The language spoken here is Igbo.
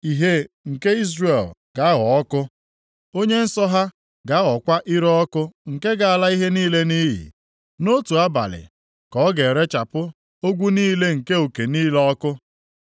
Ìhè nke Izrel, ga-aghọ ọkụ, Onye nsọ ha, ga-aghọkwa ire ọkụ nke ga-ala ihe niile nʼiyi. Nʼotu abalị ka ọ ga-erechapụ ogwu niile na uke niile ọkụ.